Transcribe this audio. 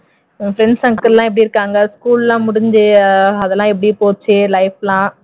உன் friends circle எல்லாம் எப்படி இருக்காங்க school எல்லாம் முடிஞ்சு அது எல்லாம் எப்படி போச்சு life லாம்